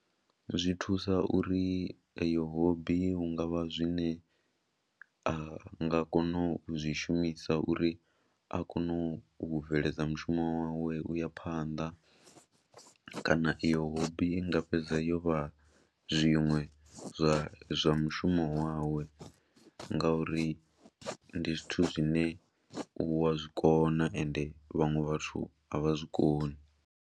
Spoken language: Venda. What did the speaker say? Zwi thusa uri eyo hobby hu nga vha zwine a nga kona u zwi shumiswa uri a kone u bveledza mushumo wawe u ya phanḓa kana iyo hobby i nga fhedza yo vha zwiṅwe zwa zwa mushumo wawe ngauri ndi zwithu zwine u wa zwi kona ende vhaṅwe vhathu a vha zwi koni.